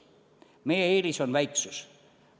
Meie eelis on väiksus.